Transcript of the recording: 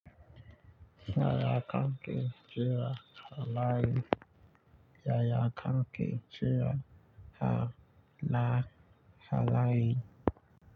Yaya kanke cewa haraye. Yaya kanke cewa har la haraye.